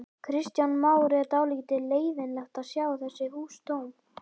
Kristján Már: Er dálítið leiðinlegt að sjá þessi hús tóm?